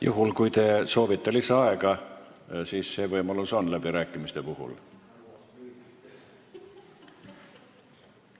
Juhul, kui te soovite lisaaega, siis läbirääkimiste puhul see võimalus on.